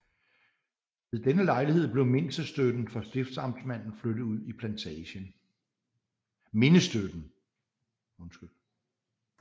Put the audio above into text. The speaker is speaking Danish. Ved denne lejlighed blev mindestøtten for stiftamtmanden flyttet ud i plantagen